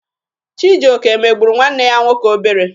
Chijioke megburu nwanne ya nwoke obere.